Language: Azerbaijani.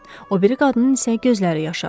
O biri qadının isə gözləri yaşardı.